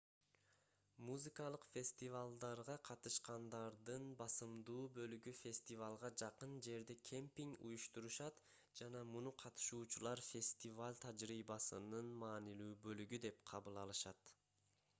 музыкалык фестивалдарга катышкандардын басымдуу бөлүгү фестивалга жакын жерде кемпинг уюштурушат жана муну катышуучулар фестиваль тажрыйбасынын маанилүү бөлүгү деп кабыл алышат